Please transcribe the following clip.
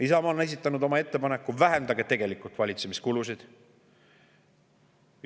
Isamaa on esitanud oma ettepaneku: vähendage tegelikult valitsemiskulusid.